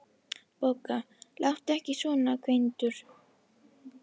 BOGGA: Láttu ekki svona, Gvendur.